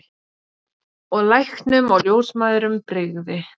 Og læknum og ljósmæðrum brygði.